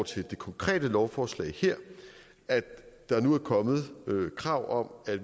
til det konkrete lovforslag her at der nu er kommet krav om at